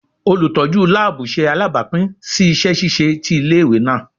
Olutọju laabu ṣe alabapin si iṣẹ ṣiṣe ti ile-iwe naa